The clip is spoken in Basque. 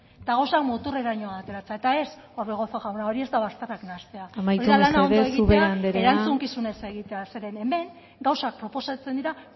eta gauzkak muturreraino ateratzea eta ez orbegozo jauna hori ez da bazterrak nahastea amaitu mesedez ubera anderea hori da lana ondo egitea erantzukizunez egitea zeren hemen gauza proposatzen dira